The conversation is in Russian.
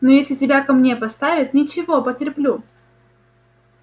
но если тебя ко мне поставят ничего потерплю